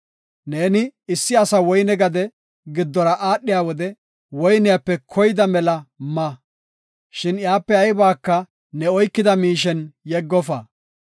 Neeni issi asa woyne gade giddora aadhiya wode woyniyape koyda mela ma, shin iyape aybaka ne oykida miishen yeggofa.